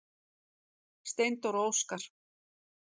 Steindór og Óskar.